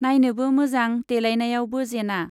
नाइनोबो मोजां देलायनायावबो जेना।